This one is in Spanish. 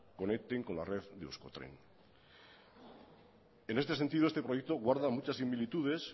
conecten con la red de euskotren en este sentido este proyecto guarda muchas similitudes